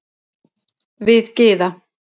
Við Gyða